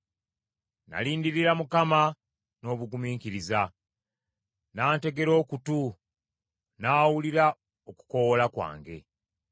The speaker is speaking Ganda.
Nalindirira Mukama n’obugumiikiriza, n’antegera okutu, n’awulira okukoowoola kwange,